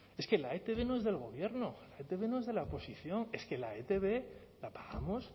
es que la etb no es del gobierno la etb no es de la oposición es que la etb la pagamos